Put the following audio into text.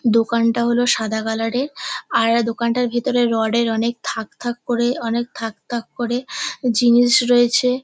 দোকানটা হল সাদা কালারের আর দোকানটার ভিতরে রডের অনেক থাক থাক করে অনেক থাক থাক করে জিনিস রয়েছে।